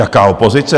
Jaká opozice?